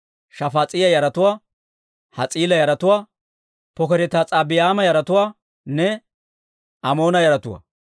Shafaas'iyaa yaratuwaa, Has's'iila yaratuwaa, Pokereti-Has's'abayma yaratuwaanne Amoona yaratuwaa.